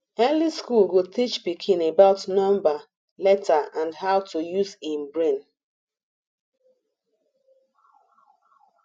early school go teach pikin about number letter and how to use em brain